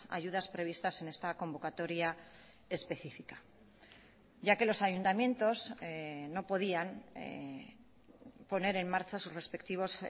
ayudas previstas en esta convocatoria específica ya que los ayuntamientos no podían poner en marcha sus respectivos